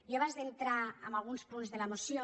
jo abans d’entrar en alguns punts de la moció